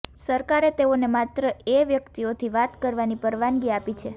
સરકારે તેઓને માત્ર એ વ્યક્તિઓથી વાત કરવાની પરવાનગી આપી છે